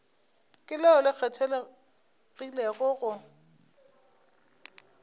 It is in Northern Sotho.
ke leo le kgethegilego go